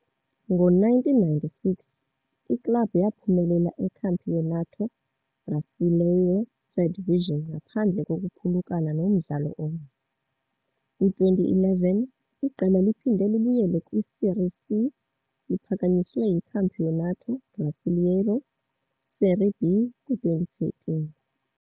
Ngo-1996 iklabhu yaphumelela iCampeonato Brasileiro Third Division ngaphandle kokuphulukana nomdlalo omnye. Kwi-2011, iqela liphinde libuyele kwi-Série C, liphakanyiswe kwiCampeonato Brasileiro Série B kwi-2013.